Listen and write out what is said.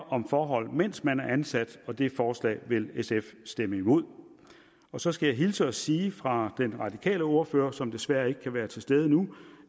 om forhold mens man er ansat og det forslag vil sf stemme imod så skal jeg hilse og sige fra den radikale ordfører som desværre ikke kan være til stede nu